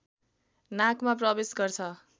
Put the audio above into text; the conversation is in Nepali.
नाकमा प्रवेश गर्छ